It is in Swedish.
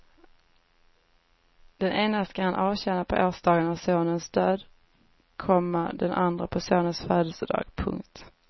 Den ena ska han avtjäna på årsdagen av sonens död, komma den andra på sonens födelsedag. punkt